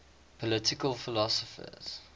political philosophers